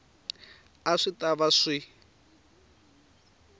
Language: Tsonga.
a swi ta va swi